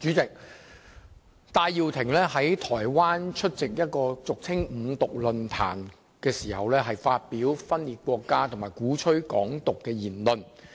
主席，戴耀廷在台灣出席一個俗稱"五獨"的論壇時，發表分裂國家和鼓吹"港獨"的言論。